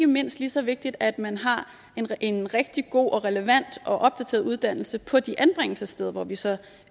mindst lige så vigtigt at man har en rigtig god og relevant og opdateret uddannelse på de anbringelsessteder hvor vi så